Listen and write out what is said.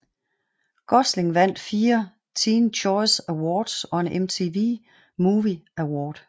Gosling vandt fire Teen Choice Awards og en MTV Movie Award